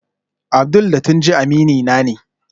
Abdul da Tunji aminina ne